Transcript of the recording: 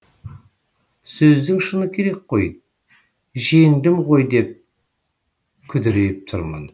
сөздің шыны керек қой жеңдім ғой деп күдірейіп тұрмын